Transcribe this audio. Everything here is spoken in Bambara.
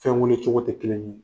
Fɛn weele cogo tɛ kelen ye.